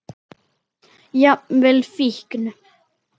Jafnvel fíkn.